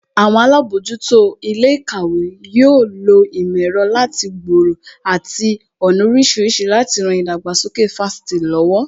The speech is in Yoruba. Àwọn alábòójútó ilé ìkàwé yóò lo ìmò ẹ̀rọ láti gbòòrò àti ọ̀nà oríṣiríṣi láti ran ìdàgbàsókè Fásitì lọ́wọ́